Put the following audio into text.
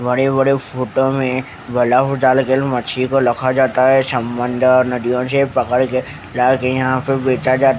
बड़े बड़े फोटो में मच्छी को रखा जाता है समुंदर नदियों से पकड़ के लाके यहाँ पे बेचा जाता है।